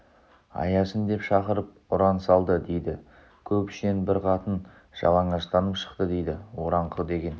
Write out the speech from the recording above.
аясын деп шақырып ұран салды дейді көп ішінен бір қатын жалаңаштанып шықты дейді ораңқы деген